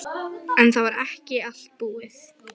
En það var ekki allt búið.